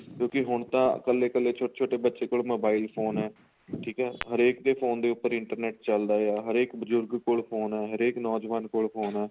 ਕਿਉਂਕਿ ਹੁਣ ਤਾਂ ਕੱਲੇ ਕੱਲੇ ਛੋਟੇ ਛੋਟੇ ਬੱਚੇ ਕੋਲ mobile phone ਏ ਠੀਕ ਏ ਹਰੇਕ ਦੇ phone ਦੇ ਉੱਪਰ internet ਚੱਲਦਾ ਆ ਹਰੇਕ ਬਜੁਰਗ ਕੋਲ phone ਆ ਹਰੇਕ ਨੋਜਵਾਨ ਕੋਲ phone ਆ